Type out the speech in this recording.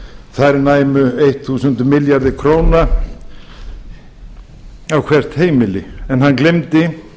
þær næmu þúsund milljarði króna á hvert heimili en hann gleymdi